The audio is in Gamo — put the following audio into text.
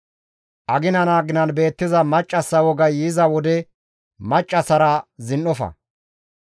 «Aginan aginan beettiza maccassa wogay yiza wode maccassara zin7ofa.